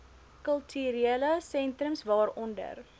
kulturele sentrums waaronder